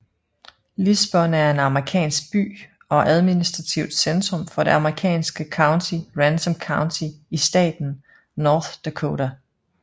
Lisbon er en amerikansk by og administrativt centrum for det amerikanske county Ransom County i staten North Dakota